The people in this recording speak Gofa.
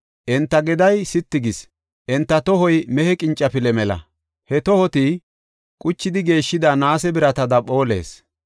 Enta geday sitti gis; enta tohoy mehe qincafile mela; he tohoti quchidi geeshshida naase biratada phoolees.